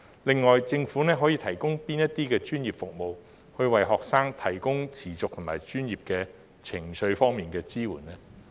另外，政府可以提供哪些專業服務，為學生提供持續和專業的情緒支援呢？